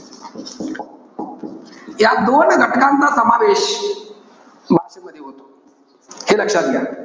या दोन घटकांचा समावेश भाषेमध्ये होतो. हे लक्षात घ्या.